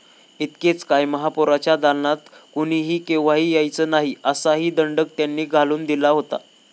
इतकेच काय, महापौरांच्या दालनात कोणीही केव्हाही यायचे नाही, असाही दंडक त्यांनी घालून दिला होता.